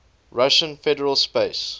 russian federal space